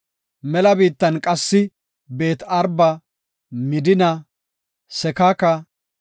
Mela biittan qassi Beet-Araba, Midina, Sekaka,